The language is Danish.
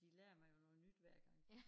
De lærer mig jo noget nyt hver gang